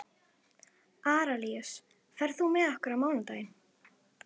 Arilíus, ferð þú með okkur á mánudaginn?